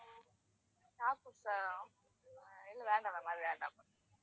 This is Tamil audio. nakpods ஆ இல்ல வேண்டாம் ma'am அது வேண்டாம் ma'am